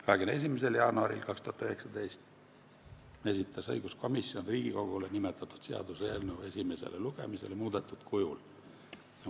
21. jaanuaril 2019 esitas õiguskomisjon Riigikogule nimetatud seaduseelnõu esimesele lugemisele muudetud kujul.